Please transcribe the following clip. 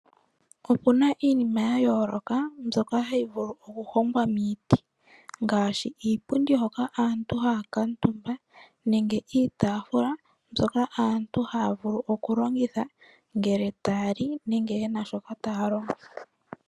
Opu na iinima ya yooloka, mbyoka hayi vulu oku hongwa miiti ngaashi iipundu hoka aantu haya kaantumba, nenge iitaafula mbyoka aantu haya vulu oku longitha ngele taya li nenge yena shoka taya longo.